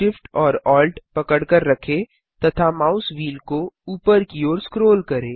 Shift और Alt पकड़कर रखें तथा माउस व्हील को ऊपर की ओर स्क्रोल करें